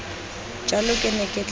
jalo ke ne ke tla